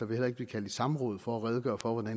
vil blive kaldt i samråd for at redegøre for